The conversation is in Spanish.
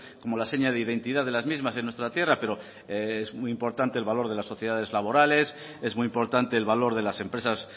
como la seña de identidad de las mismas en nuestra tierra pero es muy importante el valor de las sociedades laborales es muy importante el valor de las empresas